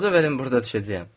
İcazə verin burada düşəcəyəm.